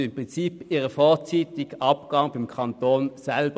Sie finanzieren somit ihren vorzeitigen Abgang beim Kanton selber.